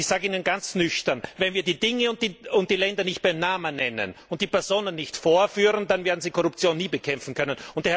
Und ich sage Ihnen ganz nüchtern Wenn wir die Dinge und die Länder nicht beim Namen nennen und die Personen nicht vorführen, dann werden Sie Korruption nie bekämpfen können.